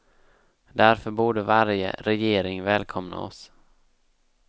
Därför borde varje regering välkomna oss.